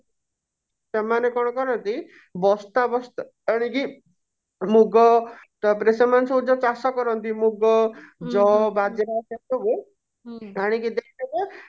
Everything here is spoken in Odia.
ସେମାନେ କଣ କରନ୍ତି ବସ୍ତା ବସ୍ତା ଆଣିକି ମୁଗ ତାପରେ ସେମାନେ ସବୁ ଯଉ ଚାଷ କରନ୍ତି ମୁଗ ଜଅ ବାଜରା ସେ ସବୁ ଆଣିକି ଦେଇଦେବେ